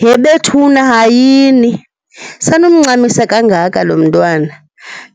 He bethuna, hayini! Sanumncamisa kangaka lomntwana.